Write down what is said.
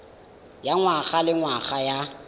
ya ngwaga le ngwaga ya